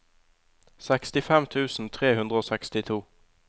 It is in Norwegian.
sekstifem tusen tre hundre og sekstito